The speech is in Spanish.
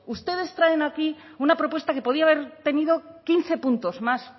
ustedes traen aquí una propuesta que podía haber tenido quince puntos más